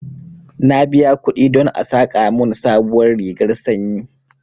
Na biya kuɗi don a saƙa mun sabuwar rigar sanyi